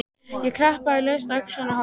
Ég klappaði laust á öxlina á honum.